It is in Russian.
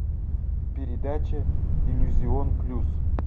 передача иллюзион плюс